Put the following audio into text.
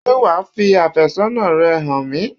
Ṣé wà á fi àfẹ́sọ́nà rẹ hàn mi?